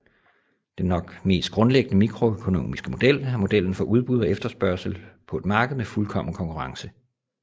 Den nok mest grundlæggende mikroøkonomiske model er modellen for udbud og efterspørgsel på et marked med fuldkommen konkurrence